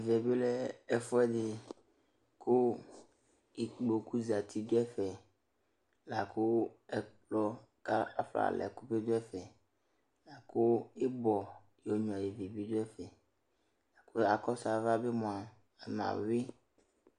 Ɛvɛ bɩ lɛ ɛfʋɛdɩ kʋ ikpoku zati dʋ ɛfɛ; la kʋ ɛkplɔ kafɔnalɛ ɛkʋ bɩ dʋ ɛfɛKʋ ɩbɔ yonyuǝ ivi bɩ dʋ ɛfɛ, kʋ akɔsʋ ava bɩ mʋa mɛ ayʋɩ